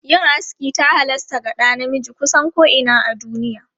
Yin aski ta halasta ga ɗa namiji kusan ko'ina a duniya.